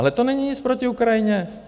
Ale to není nic proti Ukrajině.